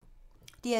DR2